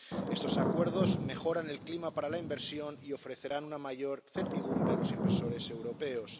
Estos acuerdos mejoran el clima para la inversión y ofrecerán una mayor certidumbre a los inversores europeos.